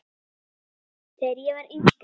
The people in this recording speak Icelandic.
Þegar ég var yngri.